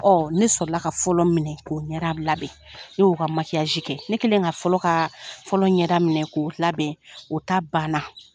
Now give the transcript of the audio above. Ɔn ne sɔrɔla ka fɔlɔ minɛ k'o ɲɛda labɛn, ne y'o ka makiyaji kɛ ne kelen ka fɔlɔ ka fɔlɔ ɲɛda minɛ k'o labɛn , o ta banna.